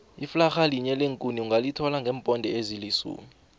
iflarha linye leenkuni ungalithola ngeeponde ezilisumi